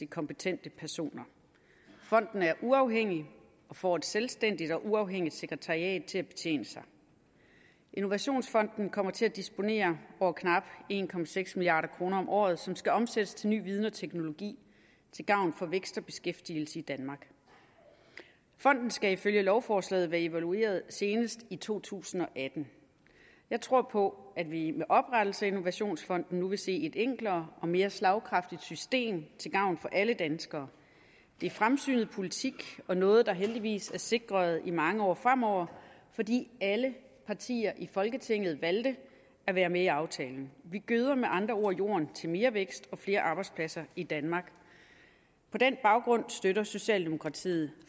kompetente personer fonden er uafhængig og får et selvstændigt og uafhængigt sekretariat til at betjene sig innovationsfonden kommer til at disponere over knap en milliard kroner om året som skal omsættes til ny viden og teknologi til gavn for vækst og beskæftigelse i danmark fonden skal ifølge lovforslaget være evalueret senest i to tusind og atten jeg tror på at vi med oprettelse af innovationsfonden nu vil se et enklere og mere slagkraftigt system til gavn for alle danskere det er fremsynet politik og noget der heldigvis er sikret i mange år fremover fordi alle partier i folketinget valgte at være med i aftalen vi gøder med andre ord jorden til mere vækst og flere arbejdspladser i danmark på den baggrund støtter socialdemokratiet